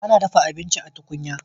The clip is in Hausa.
Ana dafa abinci a tukunya.